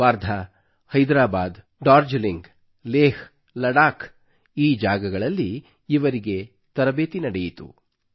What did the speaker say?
ವರ್ಧಾ ಹೈದರಾಬಾದ್ ಡಾರ್ಜಲಿಂಗ್ ಲೇಹ್ ಲಡಾಕ್ ಈ ಜಾಗಗಳಲ್ಲಿ ಇವರ ತರಬೇತಿ ನಡೆಯಿತು